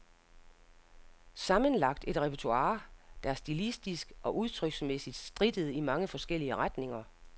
Sammenlagt et repertoire, der stilistisk og udtryksmæssigt strittede i mange forskellige retninger.